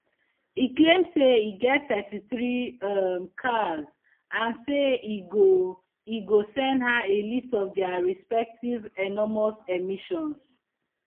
e claim say e get thirty-three um cars and say e go e go send her a list of dia respective enormous emissions